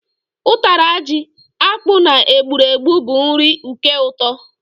Ụtara ji, akpu na egburegbu bu nri uke ụtọ